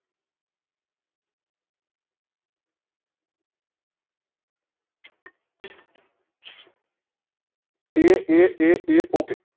એ એ એ એ OKAY